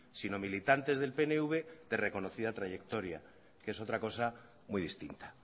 sino militantes del pnv de reconocida trayectoria que es otra cosa muy distinta